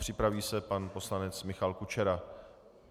Připraví se pan poslanec Michal Kučera.